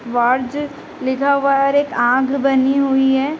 वार्ज लिखा हुआ है और एक आँख बनी हुई है।